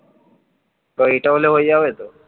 তোর এইটা হলে হয়ে যাবে তো?